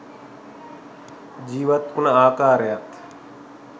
ජීවත් උන ආකාරයත්